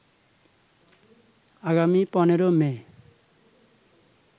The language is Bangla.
আগামী ১৫ মে